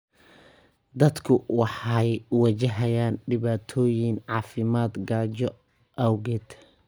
Dadku waxay wajahayaan dhibaatooyin caafimaad gaajo awgeed.